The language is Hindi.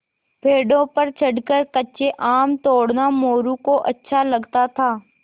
पेड़ों पर चढ़कर कच्चे आम तोड़ना मोरू को अच्छा लगता था